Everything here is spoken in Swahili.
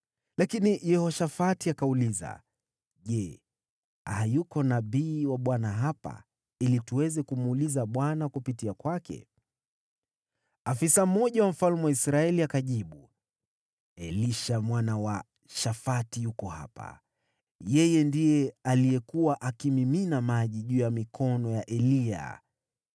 Lakini Yehoshafati akauliza, “Je, hayuko nabii wa Bwana hapa, ili tuweze kumuuliza Bwana kupitia kwake?” Afisa mmoja wa mfalme wa Israeli akajibu, “Elisha mwana wa Shafati yuko hapa. Ndiye alikuwa akimimina maji juu ya mikono ya Eliya.”